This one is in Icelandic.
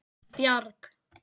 Bjarg